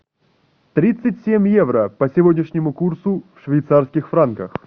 тридцать семь евро по сегодняшнему курсу в швейцарских франках